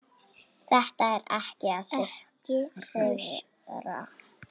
Þetta er ekki að sigra.